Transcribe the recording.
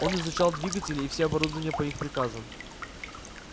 он изучал двигатели и все оборудование по их приказам